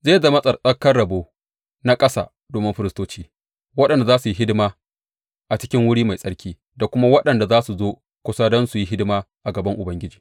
Zai zama tsattsarkan rabo na ƙasa domin firistoci, waɗanda za su yi hidima a cikin wuri mai tsarki da kuma waɗanda za su zo kusa don su yi hidima a gaban Ubangiji.